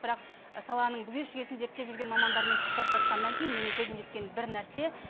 бірақ саланың бүге шүгесін зерттеп жүрген мамандармен сұхбаттасқаннан кейін менің көзім жеткен бір нәрсе